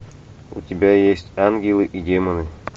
у тебя есть ангелы и демоны